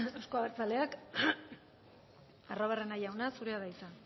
euzko abertzaleak arruabarrena jauna zurea da hitza